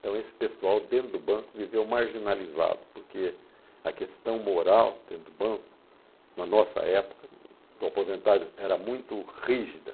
Então, esse pessoal dentro do banco viveu marginalizado, porque a questão moral dentro do banco, na nossa época, a aposentagem era muito rígida.